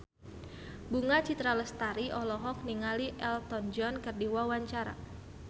Bunga Citra Lestari olohok ningali Elton John keur diwawancara